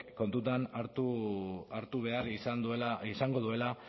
kontutan hartu behar izango duela